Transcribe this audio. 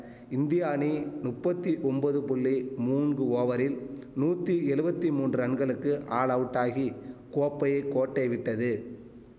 India அணி நுப்பத்தி ஒம்பது புள்ளி மூன்ங்கு ஓவரில் நூத்தி எழுவத்தி மூன்று ரன்களுக்கு ஆல் அவுட்டாகி கோப்பையை கோட்டை விட்டது